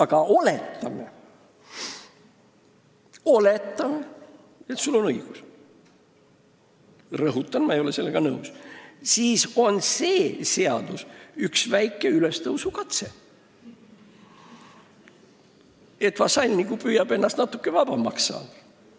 Aga oletame, et sul on õigus – rõhutan, et mina ei ole sellega nõus –, siis on see seaduseelnõu ju üks väike ülestõusukatse: vasall püüab natuke vabamaks saada.